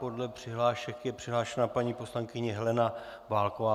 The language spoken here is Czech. Podle přihlášek je přihlášena paní poslankyně Helena Válková.